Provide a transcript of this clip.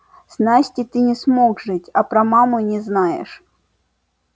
с настей ты не смог жить а про маму не знаешь